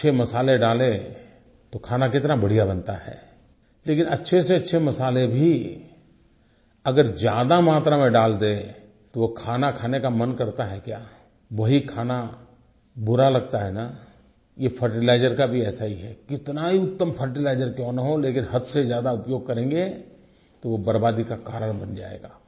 अच्छे मसाले डालें तो खाना कितना बढ़िया बनता है लेकिन अच्छे से अच्छे मसाले भी अगर ज्यादा मात्रा में दाल दें तो वो खाना खाने का मन करता है क्या वही खाना बुरा लगता है न ये फर्टिलाइजर का भी ऐसा ही है कितना ही उत्तम फर्टिलाइजर क्यों न हो लेकिन हद से ज्यादा फर्टिलाइजर का उपयोग करेंगे तो वो बर्बादी का कारण बन जायेगा